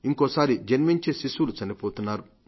ఇంకోసారి జన్మించే శిశువులు చనిపోతున్నారు